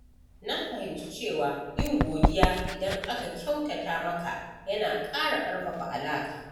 Na fahimci cewa yin godiya idan aka kyautata maka yana ƙara ƙarfafa alaƙa.